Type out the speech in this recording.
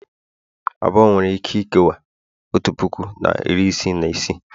abụọ nwere ike ikewaa otu puku na iri isii na isii